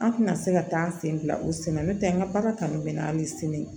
An tɛna se ka taa an sen bila u sen na n'o tɛ an ka baara kanu bɛ na an bɛ sini